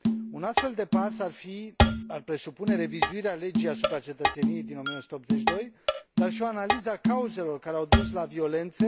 Un astfel de pas ar presupune revizuirea Legii asupra cetățeniei din 1982, dar și o analiză a cauzelor care au dus la violențe.